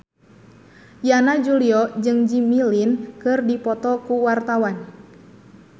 Yana Julio jeung Jimmy Lin keur dipoto ku wartawan